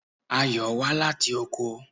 Ayò wá láti oko.